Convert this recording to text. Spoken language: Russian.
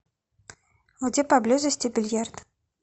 где поблизости бильярд